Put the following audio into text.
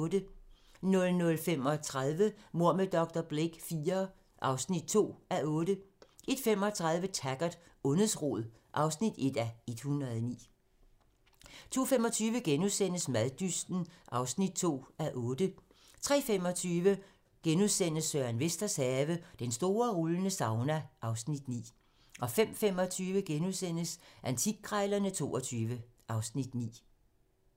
00:35: Mord med dr. Blake IV (2:8) 01:35: Taggart: Ondets rod (1:109) 02:25: Maddysten (2:8)* 03:25: Søren Vesters have - Den store rullende sauna (Afs. 9)* 05:25: Antikkrejlerne XXII (Afs. 9)*